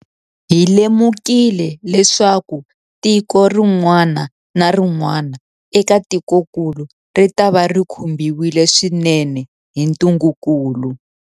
Hi lemukile leswaku tiko rin'wana na rin'wana eka tikokulu ritava ri khumbiwile swinene hi ntungukulu.